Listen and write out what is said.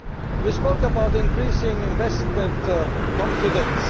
You spoke about increasing investment confidence.